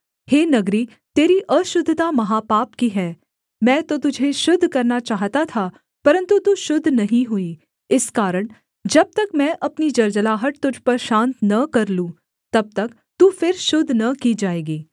हे नगरी तेरी अशुद्धता महापाप की है मैं तो तुझे शुद्ध करना चाहता था परन्तु तू शुद्ध नहीं हुई इस कारण जब तक मैं अपनी जलजलाहट तुझ पर शान्त न कर लूँ तब तक तू फिर शुद्ध न की जाएगी